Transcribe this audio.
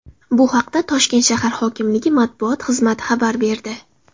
Bu haqda Toshkent shahar hokimligi matbuot xizmati xabar berdi .